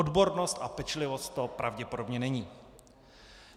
Odbornost a pečlivost to pravděpodobně není.